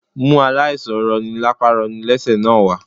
Mú aláìsàn roni lapa roni lẹ́sẹ̀ náà wá